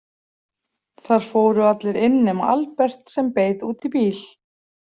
Þar fóru allir inn nema Albert sem beið úti í bíl.